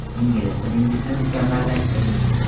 Ingliz tilingizni mukammallashtiring.